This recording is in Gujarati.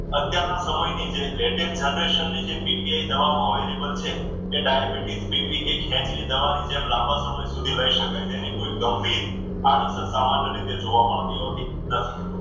અત્યારના સમયની જે latest generation છે દવાઓ available છે એ ડાયાબિટીસ, બીપી કે ખેચની દવાની જેમ લાંબા સમય સુધી લઈ શકાય જેની કોઈ ગંભીર આડઅસર સામાન્ય રીતે જોવા મળતી હોતી નથી.